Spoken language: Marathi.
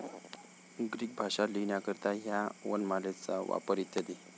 ग्रीक भाषा लिहिण्याकरिता ह्या वनमालेचा वापर इ.